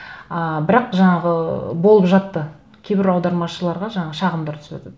ыыы бірақ жаңағы болып жатты кейбір аудармашыларға жаңағы шағымдар түсіватады